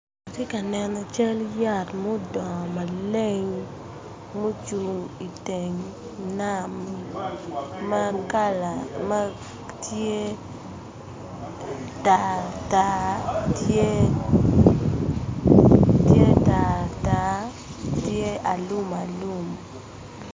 Atye ka neno cal yat mudong maleng ma ocung i teng nam makala, matye tar tar, tye tar tar tye alumalum.